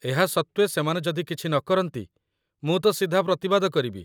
ଏହା ସତ୍ତ୍ୱେ ସେମାନେ ଯଦି କିଛି ନକରନ୍ତି, ମୁଁ ତ ସିଧା ପ୍ରତିବାଦ କରିବି।